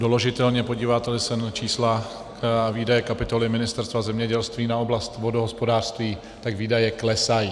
Doložitelně podíváte-li se na čísla výdaje kapitoly Ministerstva zemědělství na oblast vodohospodářství, tak výdaje klesají.